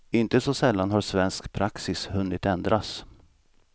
Inte så sällan har svensk praxis hunnit ändras.